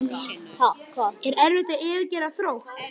Er erfitt að yfirgefa Þrótt?